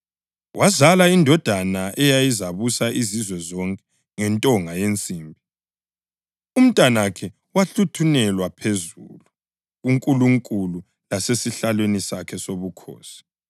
Wazala indodana, “eyayizabusa izizwe zonke ngentonga yensimbi.” + 12.5 AmaHubo 2.9 Umntanakhe wahluthunelwa phezulu kuNkulunkulu lasesihlalweni sakhe sobukhosi.